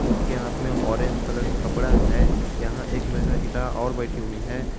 उसके हाथ में ऑरेंज कलर का कपड़ा है यहां एक महिला और बैठी हुई है।